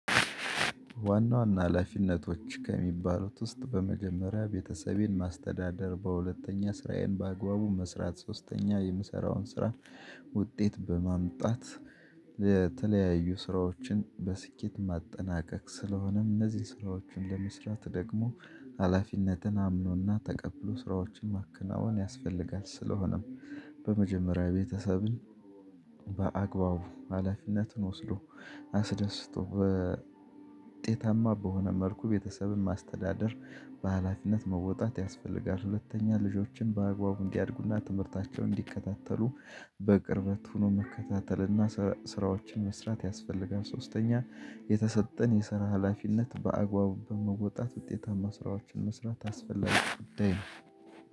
ዋና ዋና ሀላፊነቶች ከሚባሉት ውስጥ በመጀመሪያ ቤተሰቤን ማስተዳደር በሁለተኛ ስራዬን በአግባቡ መስራት ሶስተኛ የምሰራውን ስራ ውጤት በማምጣት ለተለያዩ ስራዎችን በስኬት ማጠናቀቅ። ስለሆነም እነዚህን ስራዎች እንደምስራት ደግሞ ሀላፊነትን አምኖና ተቀብሎ ስራዎችን ማከናወን ያስፈልጋል። ስለሆነም በመጀመሪያ ቤተሰብን በአግባቡ ሀላፊነትን ወስዶ አስደስቶ በውጤታማ በሆነ መልኩ ቤተሰብን ማስተዳደር በሃላፊነት መወጣት ያስፈልጋል። ሁለተኛ ልጆችን በአግባቡ እንዲያድጉና ትምህርታቸው እንዲከታተሉ በቅርበት ሆኖ መከታተልና ስራዎችን መስራት ያስፈልጋል። ሶስተኛ የተሰጠን የሰራ ሀላፊነት በአግባቡ በመወጣት ውጤታማ ስራዎችን መስራት አስፈላጊ ጉዳይ።